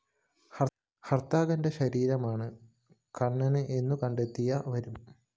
നര്‍ത്തകന്റെ ശരീരമാണ് കണ്ണന് എന്നുകണ്ടെത്തിയവരും